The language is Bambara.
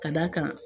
Ka d'a kan